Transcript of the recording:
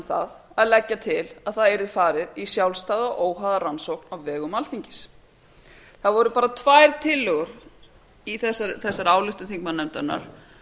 um að leggja til að það yrði fara í sjálfstæða óháða rannsókn á vegum alþingis það voru bara tvær tillögur í þessari ályktun þingmannanefndarinnar